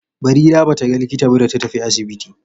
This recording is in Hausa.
Barira ba ta ga likita ba da ta tafi asibiti.